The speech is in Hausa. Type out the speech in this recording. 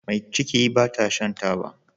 Me ciki bata Shan taba